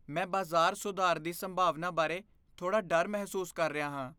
ਮੈਂ ਬਾਜ਼ਾਰ ਸੁਧਾਰ ਦੀ ਸੰਭਾਵਨਾ ਬਾਰੇ ਥੋੜ੍ਹਾ ਡਰ ਮਹਿਸੂਸ ਕਰ ਰਿਹਾ ਹਾਂ।